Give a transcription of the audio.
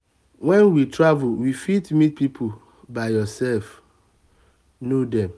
when we travel we fit meet pipo by ourself know them